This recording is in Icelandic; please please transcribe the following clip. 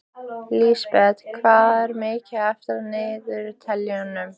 Lísebet, hvað er mikið eftir af niðurteljaranum?